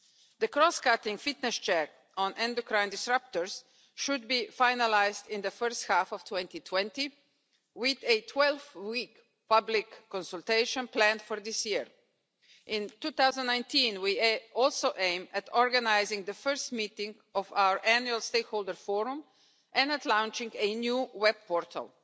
The cross cutting fitness check on endocrine disruptors should be finalised in the first half of 2020, with a 12 week public consultation planned for this year. In 2019, we also aim to organise the first meeting of our annual stakeholder forum and to launch a new web portal.